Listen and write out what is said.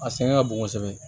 A sɛgɛn ka bon kosɛbɛ